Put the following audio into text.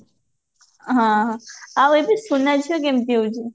ହଁ ହଁ ଆଉ ଏବେ ସୁନା ଝିଅ କେମିତି ହଉଛି